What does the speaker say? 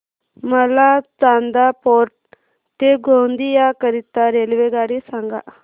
मला चांदा फोर्ट ते गोंदिया करीता रेल्वेगाडी सांगा